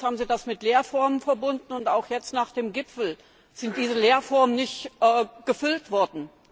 Allerdings haben Sie das mit Leerformeln verbunden, und auch jetzt nach dem Gipfel sind diese Leerformeln nicht gefüllt worden.